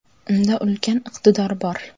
Unda ulkan iqtidor bor.